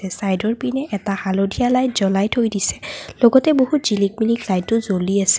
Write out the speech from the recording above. চাইডৰপিনে এটা হালধীয়া লাইট জ্বলাই থৈ দিছে লগতে বহুত জিলিক মিলিক লাইটো জ্বলি আছে।